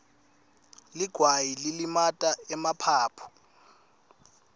ligwayi lilimata emaphaphu